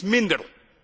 Niets minder!